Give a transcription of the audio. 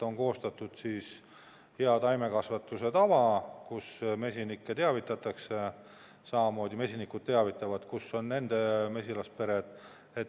On koostatud hea taimekasvatuse tava, mille järgi mesinikke teavitatakse, samamoodi mesinikud teavitavad, kus on nende mesilaspere.